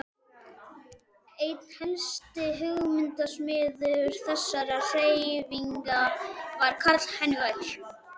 Einn helsti hugmyndasmiður þessarar hreyfingar var Karl Heinrich